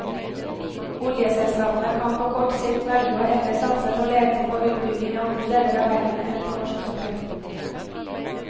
Oljeselskapene kan på kort sikt velge å heller satse på leting og utbygging i andre deler av verden enn på norsk sokkel.